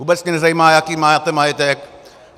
Vůbec mě nezajímá, jaký máte majetek.